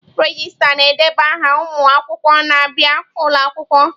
Regista na-edeba aha ụmụ akwụkwọ na-abịa ụlọ akwụkwọ.